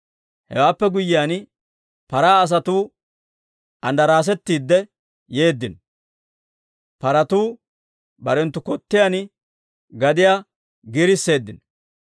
Hewaappe guyyiyaan, paraa asatuu andaraasetiidde yeeddino. Paratuu barenttu kottiyaan gadiyaa giirisseeddino.